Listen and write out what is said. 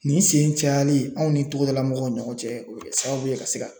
Nin sen cayali anw ni togodala mɔgɔw ni ɲɔgɔn cɛ o be kɛ sababu ye ka se ka.